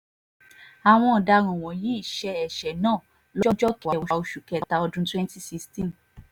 àwọn ọ̀daràn wọ̀nyí ṣe ẹsẹ náà ọdún twenty sixteen